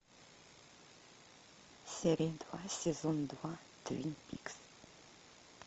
серия два сезон два твин пикс